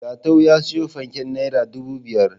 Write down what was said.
Jatau ya siyo fanken naira dubu biyar.